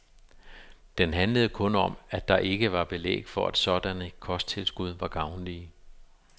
Den handlede kun om, at der ikke var belæg for, at sådanne kosttilskud var gavnlige.